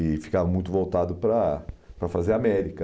E ficava muito voltado para para fazer América.